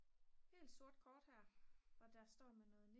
helt sort kort og der står med noget